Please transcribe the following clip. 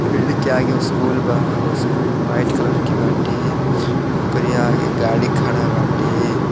Field के आगे school बा उस्कूल वाइट कलर के बाटे ओकरे आगे गाड़ी खड़ा बाटे।